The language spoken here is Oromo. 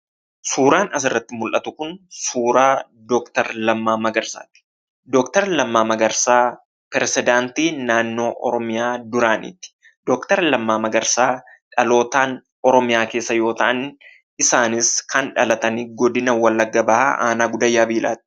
Suuraan asirratti mul'atu kun suuraa doktar Lammaa Magarsaati. Doktar Lammaa Magarsaa pirezedaantii duraanii mootummaa naannoo oromiyaati. Doktar Lammaa Magarsaa dhalootaan oromiyaa keessa yoo ta'u, isaanis kan dhalatan godina Wallagga bahaa aanaa Gudayyaa Biilaatti.